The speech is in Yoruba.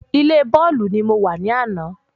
Ilé bọ́ọ̀lù ní mo wa ní àná